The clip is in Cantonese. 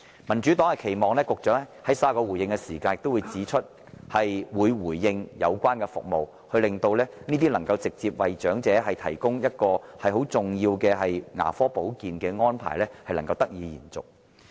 民主黨期望局長在稍後發言時能就相關服務作出回應，令這些直接為長者提供重要牙科保健的安排得以延續。